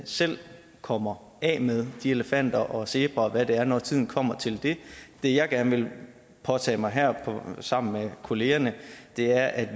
selv kommer af med de elefanter og zebraer og hvad der er når tiden kommer til det det jeg gerne vil påtage mig her sammen med kollegerne er at